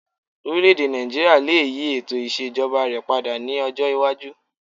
Orílẹ̀-èdè Nàìjííríà lè yí ètò ìṣèjọba rẹ̀ padà ní ọjọ́ iwájú